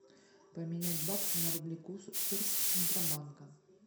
поменять баксы на рубли курс центробанка